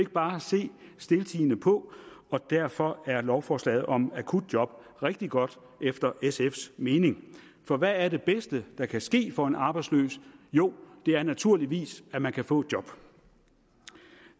bare se stiltiende på og derfor er lovforslaget om akutjob rigtig godt efter sfs mening for hvad er det bedste der kan ske for en arbejdsløs jo det er naturligvis at man kan få et job